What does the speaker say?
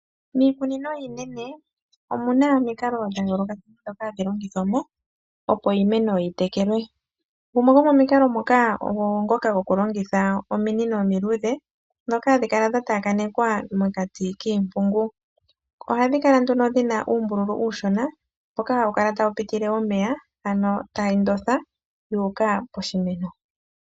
Miikunino iinene omuna omikalo dha yoolokathana dhoka hadhi longithwamo opo iimeno yi tekelwe. Gumwe gomo mikalo moka ogo ngoka goku longitha ominino omi luudhe. Moka hadhikala tha taakanekwa mokati kiimpungu. Oha dhikala nduno dhina uumbululu uushona mboka haukala tawu pitile omeya, ano tayi ndotha yuuka poshimeno.